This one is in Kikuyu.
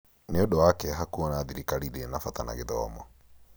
Nĩ ũndũ wa kĩeha kuona thirikari ndĩrĩ na bata na gĩthomo